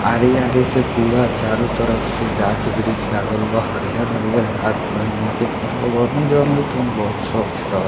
आरी-आरी से पूरा चारो तरफ से गाँछ-वृछ लागल बा हरियर-हरियर गाँछ बा यहाँ के पर्यावरण जउन होइ तउन बहुत स्वच्छ रहअ।